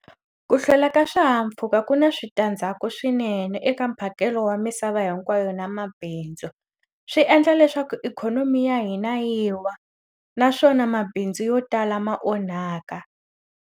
Ku hlwela ka swihahampfhuka ku na switandzhaku swinene eka mphakelo wa misava hinkwayo na mabindzu. Swi endla leswaku ikhonomi ya hina yi wa, naswona mabindzu yo tala ma onhaka.